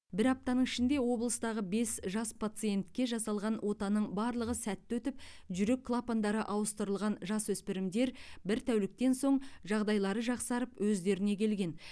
бір аптаның ішінде облыстағы бес жас пациентке жасалған отаның барлығы сәтті өтіп жүрек клапандары ауыстырылған жасөспірімдер бір тәуліктен соң жағдайлары жақсарып өздеріне келген